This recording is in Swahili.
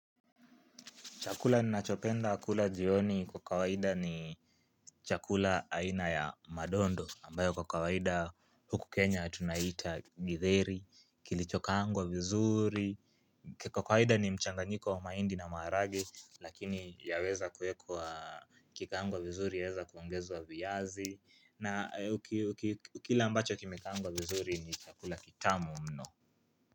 Chakula ninachopenda kula jioni kwa kawaida ni chakula aina ya madondo ambayo kwa kawaida huku Kenya tunaita Githeri kilichokaangwa vizuri. Kwa kawaida ni mchanga njiko wa mahindi na maharagwe lakini yaweza kuekwa kikaangwa vizuri yaweza kuongezwa wa viyazi na ukila ambacho kimekaangwa vizuri ni chakula kitamu mno.